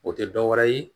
O tɛ dɔ wɛrɛ ye